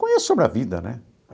Conheço sobre a vida, né?